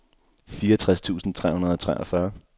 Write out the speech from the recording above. fireogtres tusind tre hundrede og treogfyrre